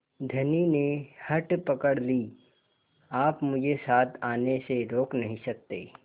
धनी ने हठ पकड़ ली आप मुझे साथ आने से रोक नहीं सकते